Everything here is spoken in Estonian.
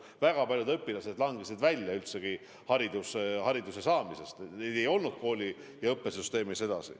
Väga paljud õpilased langesid üldse välja, neid ei olnud enam koolisüsteemis.